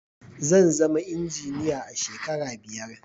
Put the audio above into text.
zanzama injiniya a shekara biyar